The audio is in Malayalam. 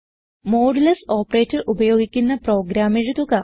മോഡുലസ് ഓപ്പറേറ്റർ ഉപയോഗിക്കുന്ന പ്രോഗ്രാം എഴുതുക